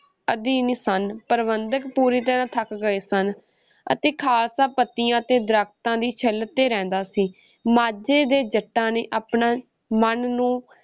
ਅਧੀਨ ਸਨ, ਪ੍ਰਬੰਧਕ ਪੂਰੀ ਤਰ੍ਹਾਂ ਥੱਕ ਗਏ ਸਨ ਅਤੇ ਖਾਲਸਾ ਪੱਤਿਆਂ ਅਤੇ ਦਰੱਖਤਾਂ ਦੀ ਛਿੱਲ ‘ਤੇ ਰਹਿੰਦਾ ਸੀ, ਮਾਝੇ ਦੇ ਜੱਟਾਂ ਨੇ ਆਪਣੇ ਮਨ ਨੂੰ